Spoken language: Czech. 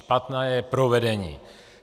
Špatné je provedení.